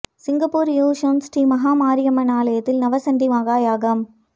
Singapore Yishun Sri Maha Mariamman ஆலயத்தில் நவசண்டி மகா யாகம்